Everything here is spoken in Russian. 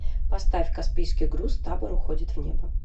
поставь каспийский груз табор уходит в небо